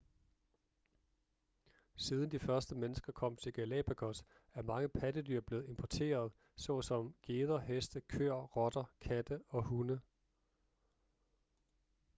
siden de første mennesker kom til galapagos er mange pattedyr blevet importeret såsom geder heste køer rotter katte og hunde